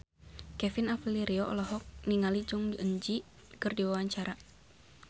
Kevin Aprilio olohok ningali Jong Eun Ji keur diwawancara